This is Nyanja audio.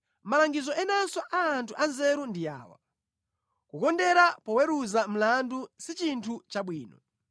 Malangizo enanso a anthu anzeru ndi awa: Kukondera poweruza mlandu si chinthu chabwino: